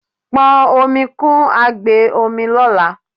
pọn omi kun agbe omi lola